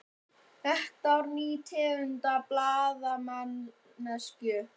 Þetta var ný tegund af blaðamennsku.